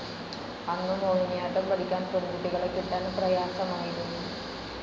അന്നു മോഹിനിയാട്ടം പഠിക്കാൻ പെൺകുട്ടികളെ കിട്ടാൻ പ്രയാസമായിരുന്നു.